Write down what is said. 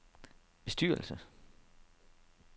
bestyrelse